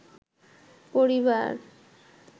পরিবার